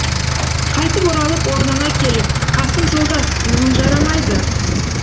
қайтып оралып орнына келіп қасым жолдас мұның жарамайды